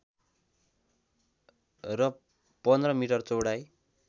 र १५ मिटर चौडाइ